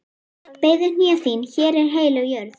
Beygðu hné þín, hér er heilög jörð.